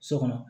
So kɔnɔ